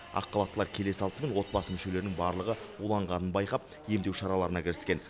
ақ халаттылар келе салысымен отбасы мүшелерінің барлығы уланғанын байқап емдеу шараларына кіріскен